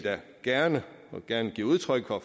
gerne gerne give udtryk for